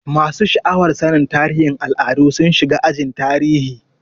Masu sha'awar sannin tarihin al'adu sun shiga ajin tarihi.